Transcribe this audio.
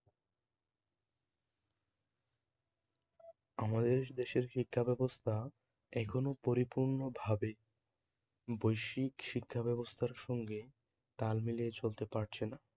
আমাদের দেশের শিক্ষা ব্যবস্থা এখনও পরিপূর্ণভাবে বৈশ্বিক শিক্ষাব্যবস্থার সঙ্গে তাল তাল মিলিয়ে চলতে পারছে না